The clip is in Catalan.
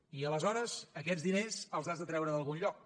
i aleshores aquests diners els has de treure d’algun lloc